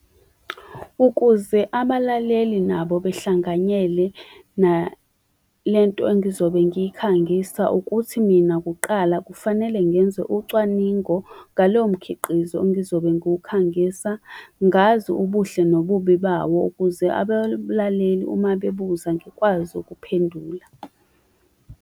Ukuze abalaleli nabo behlanganyele nalento engizobe ngikhangisa ukuthi mina kuqala kufanele ngenze ucwaningo ngalowo mkhiqizo engizobe ngiwukhangisa, ngazi ubuhle nobubi bawo, ukuze abalaleli uma bebuza, ngikwazi ukuphendula